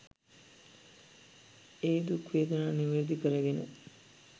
ඒ දුක් වේදනා නිවැරදි කරගෙන